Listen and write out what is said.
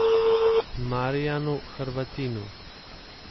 Marijanu Hrvatinu.